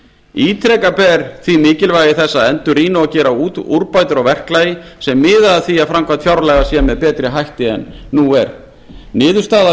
ítreka ber því mikilvægi þess að endurrýna og gera úrbætur á verklagi sem miða að því að framkvæmd fjárlaga sé með betri hætti en nú er niðurstaða